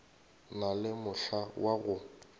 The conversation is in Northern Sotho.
na le mohla wa go